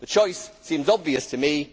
The choice seems obvious to me